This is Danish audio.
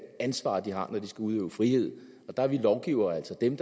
ansvar de har når de skal udøve frihed og der er vi lovgivere altså dem